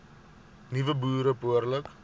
nuwe boere behoorlik